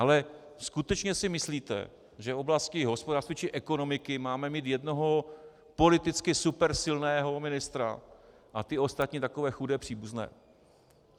Ale skutečně si myslíte, že v oblasti hospodářství či ekonomiky máme mít jednoho politicky supersilného ministra a ty ostatní takové chudé příbuzné?